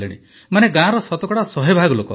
ମାନେ ଗାଁର ଶତକଡ଼ା ଶହେ ଭାଗ ଲୋକ